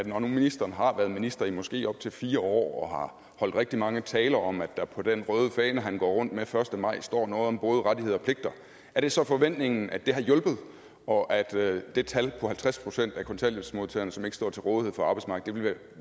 nu ministeren har været minister i måske op til fire år og har holdt rigtig mange taler om at der på den røde fane han går rundt med første maj står noget om både rettigheder og pligter er det så forventningen at det har hjulpet og at det tal på halvtreds procent af kontanthjælpsmodtagerne som ikke står til rådighed for arbejdsmarkedet vil